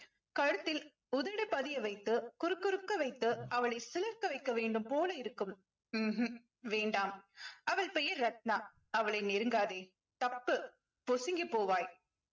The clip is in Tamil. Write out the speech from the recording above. கழுத்தில் உதடு பதிய வைத்து குறுகுறுக்க வைத்து அவளை சிலிர்க்க வைக்க வேண்டும் போலிருக்கும் ம்ஹும் வேண்டாம் அவள் பெயர் ரத்னா அவளை நெருங்காதே தப்பு பொசுங்கிப் போவாய்